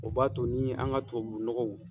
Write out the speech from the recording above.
O b'a to ni an ka tubabu nɔgɔw.